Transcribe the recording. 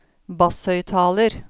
basshøyttaler